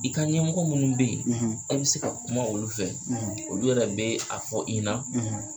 I ka ɲɛmɔgɔ minnu bɛ ye a bɛ se ka kuma olu fɛ olu yɛrɛ bɛ a fɔ i na